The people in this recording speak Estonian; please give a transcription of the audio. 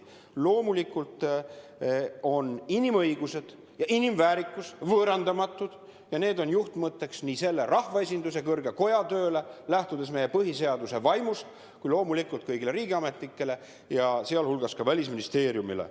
Loomulikult on inimõigused ja inimväärikus võõrandamatud ja need on lähtudes meie põhiseaduse vaimust juhtmõtteks nii sellele rahvaesinduse kõrgele kojale kui loomulikult ka kõigile riigiametnikele, sh Välisministeeriumile.